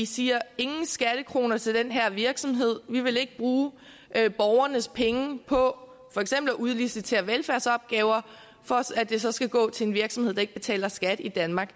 siger ingen skattekroner til den her virksomhed vi vil ikke bruge borgernes penge på for eksempel at udlicitere velfærdsopgaver for at det så skal gå til en virksomhed der ikke betaler skat i danmark